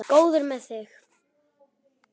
Góður með þig.